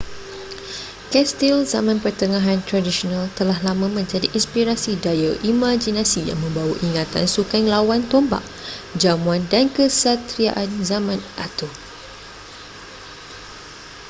kastil zaman pertengahan tradisional telah lama menjadi inspirasi daya imaginasi yang membawa ingatan sukan lawan tombak jamuan dan kesatriaan zaman arthur